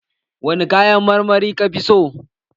Wani kayan marmari ka fi so?